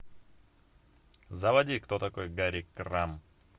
заводи кто такой гарри крамб